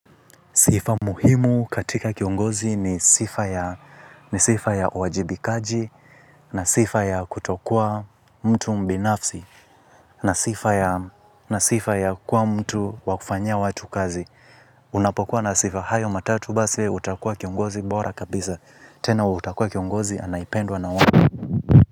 Sifa muhimu katika kiongozi ni sifa ya wajibikaji na sifa ya kutokua mtu mbinafsi na sifa ya kuwa mtu wakufanyia watu kazi. Unapokuwa na sifa hayo matatu basi utakua kiongozi bora kabisa. Tena utakua kiongozi anaependwa na watu.